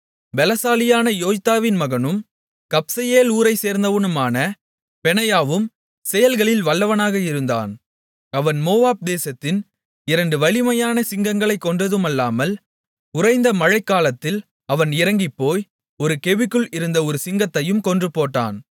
பலசாலியான யோய்தாவின் மகனும் கப்செயேல் ஊரைச்சேர்ந்தவனுமான பெனாயாவும் செயல்களில் வல்லவனாக இருந்தான் அவன் மோவாப் தேசத்தின் இரண்டு வலிமையான சிங்கங்களைக் கொன்றதுமல்லாமல் உறைந்த மழைக்காலத்தில் அவன் இறங்கிப்போய் ஒரு கெபிக்குள் இருந்த ஒரு சிங்கத்தையும் கொன்றுபோட்டான்